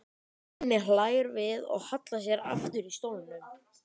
Svenni hlær við og hallar sér aftur í stólnum.